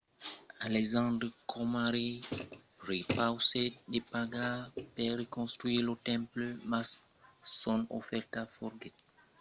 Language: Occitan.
alexandre coma rei prepausèt de pagar per reconstruire lo temple mas son ofèrta foguèt rebutada. mai tard aprèp la mòrt d'alexandre lo temple foguèt reconstruch en 323 abc